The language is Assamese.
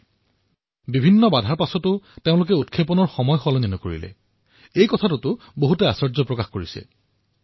ইয়াক লৈ আমি গৰ্ব কৰিব লাগে আৰু সময়ৰ ব্যৱধানৰ পিছতো তেওঁলোকে লক্ষ্য প্ৰাপ্তিৰ সময় পৰিৱৰ্তন নকৰিলে আৰু এয়াই হল আশ্বৰ্যকৰ কথা